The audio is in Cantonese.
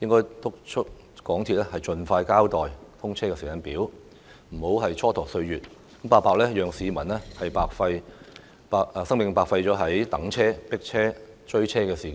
應督促港鐵公司盡快交代"通車時間表"，不要蹉跎歲月，讓市民白白將生命浪費於等車、迫車和追車上。